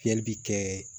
Fiyɛli bɛ kɛ